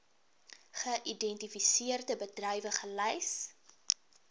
geïdentifiseerde bedrywe gelys